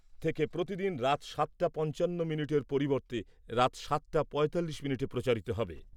থেকে প্রতিদিন রাত সাতটা পঞ্চান্ন মিনিটের পরিবর্তে রাত সাতটা পঁয়তাল্লিশ মিনিটে প্রচারিত হবে।